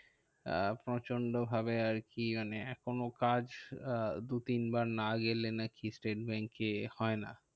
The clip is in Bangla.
আহ প্রচন্ড ভাবে আরকি মানে এখনো কাজ আহ দু তিন বার না গেলে নাকিস্টেট ব্যাঙ্কে হয় না।